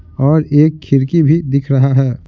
और एक खिड़की भी दिख रहा है।